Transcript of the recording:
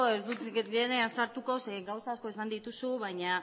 ez dut sartuko zeren gauza asko esan dituzu baina